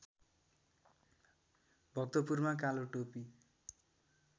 भक्तपुरमा कालो टोपी